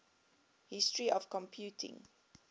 history of computing